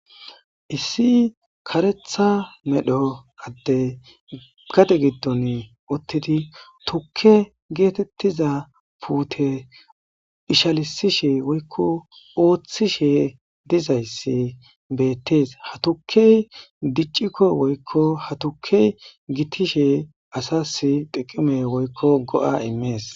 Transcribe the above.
Issi karetha medho adde gade giddon ottidi tukke geetettiza puute ishalisishe woykko ooththishe dizayssi beettees hatukey diccikko woykko hatuke gitishe asas xiqime woykko go7a imees